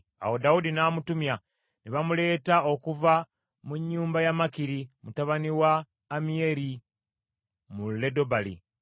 Awo Dawudi n’amutumya, ne bamuleeta okuva mu nnyumba ya Makiri mutabani wa Ammiyeri mu Lodebali.